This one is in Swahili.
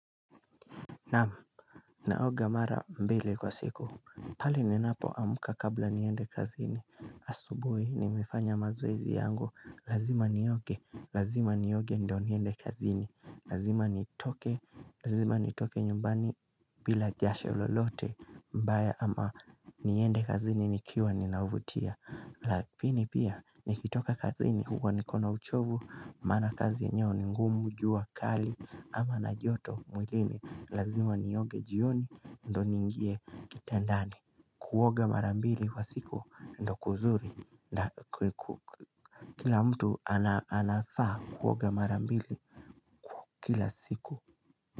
Naam, naoga mara mbele kwa siku pale ninapoamka kabla niende kazini. Asubuhi nimefanya mazoezi yangu Lazima nioge, lazima nioge ndo niende kazini Lazima ni toke, lazima ni toke nyumbani bila jasho lolote mbaya ama niende kazini nikiwa ninauvutia Lakini pia, nikitoka kazini huwa nikona uchovu Maana kazi yenyewe ni ngumu, jua kali ama na joto mwilini Lazima nioge jioni ndo ningie kitandani Kuoga marambili kwa siku ndo kuzuri Kila mtu anafaa kuoga marambili kila siku.